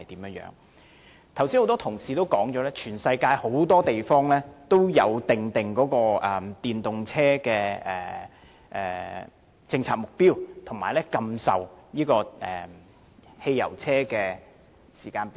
剛才多位議員已曾提到，全世界很多地方均有訂定電動車政策目標，以及禁售汽油車的時間表。